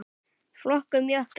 Flokkun jökla